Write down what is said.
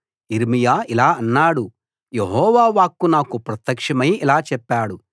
యిర్మీయా ఇలా అన్నాడు యెహోవా వాక్కు నాకు ప్రత్యక్షమై ఇలా చెప్పాడు